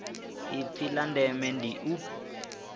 ipfi la ndeme ndi u